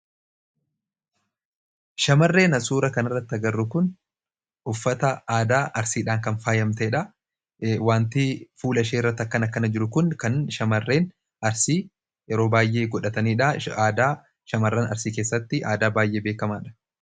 Shamarreen asirratti arginu kun uffata aadaa Arsiidhaan kan faayamtedha. Wanti fuula ishee irratti akkana akkana jiru kun waan shamarreen Arsii yeroo baay'ee godhatanidha. Arsii keessatti aadaa baay'ee beekamaadha.